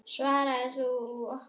Svaraðu okkur.